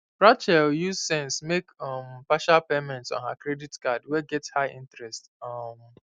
rachel use sense make um partial payments on her credit card wey get high interest um